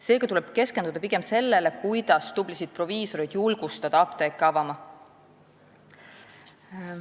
Seega tuleb keskenduda pigem sellele, kuidas julgustada tublisid proviisoreid apteeke avama.